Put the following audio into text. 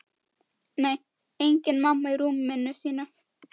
Nei, engin mamma í rúminu sínu.